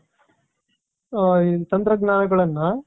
ತಂತ್ರಜ್ಞಾನಗಳನ್ನ